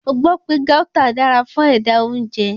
Mo gbọ́ pé Gauta dára fún ẹ̀dà-oúnjẹ.